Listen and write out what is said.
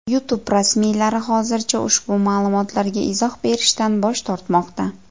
YouTube rasmiylari hozircha ushbu ma’lumotlarga izoh berishdan bosh tortmoqda.